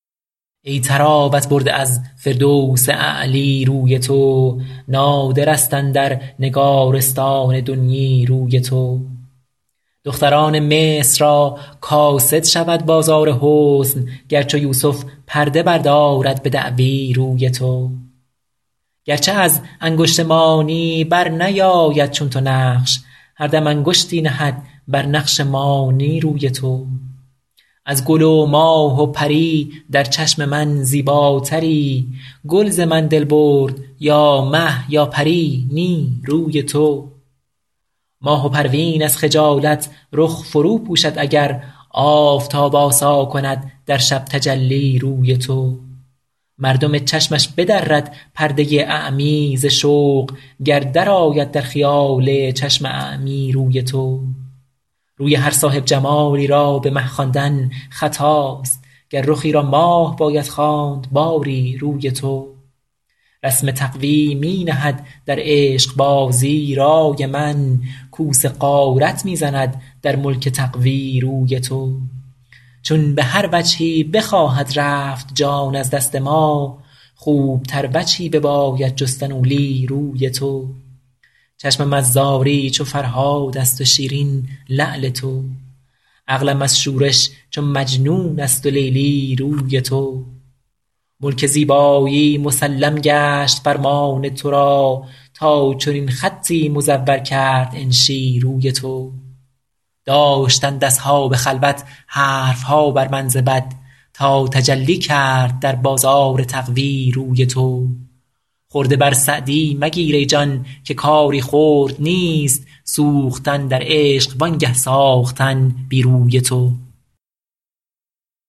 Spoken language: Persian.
ای طراوت برده از فردوس اعلی روی تو نادر است اندر نگارستان دنیی روی تو دختران مصر را کاسد شود بازار حسن گر چو یوسف پرده بردارد به دعوی روی تو گر چه از انگشت مانی بر نیاید چون تو نقش هر دم انگشتی نهد بر نقش مانی روی تو از گل و ماه و پری در چشم من زیباتری گل ز من دل برد یا مه یا پری نی روی تو ماه و پروین از خجالت رخ فرو پوشد اگر آفتاب آسا کند در شب تجلی روی تو مردم چشمش بدرد پرده اعمی ز شوق گر درآید در خیال چشم اعمی روی تو روی هر صاحب جمالی را به مه خواندن خطاست گر رخی را ماه باید خواند باری روی تو رسم تقوی می نهد در عشق بازی رای من کوس غارت می زند در ملک تقوی روی تو چون به هر وجهی بخواهد رفت جان از دست ما خوب تر وجهی بباید جستن اولی روی تو چشمم از زاری چو فرهاد است و شیرین لعل تو عقلم از شورش چو مجنون است و لیلی روی تو ملک زیبایی مسلم گشت فرمان تو را تا چنین خطی مزور کرد انشی روی تو داشتند اصحاب خلوت حرف ها بر من ز بد تا تجلی کرد در بازار تقوی روی تو خرده بر سعدی مگیر ای جان که کاری خرد نیست سوختن در عشق وانگه ساختن بی روی تو